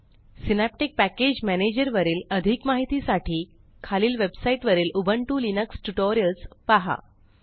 synaptic package manager वरील अधिक माहिती साठी खालील वेबसाईट वरीलUbuntu लिनक्स ट्युटोरियल्स पहा